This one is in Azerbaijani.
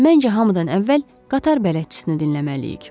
Məncə hamıdan əvvəl qatar bələdçisini dinləməliyik.